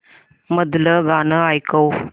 मधलं गाणं ऐकव